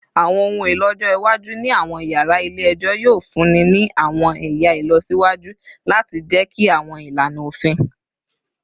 Awọn ohun elo ọjọ iwaju ni awọn yara ile-ẹjọ yoo funni ni awọn ẹya ilọsiwaju lati jẹki awọn ilana ofin